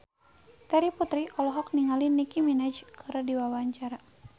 Terry Putri olohok ningali Nicky Minaj keur diwawancara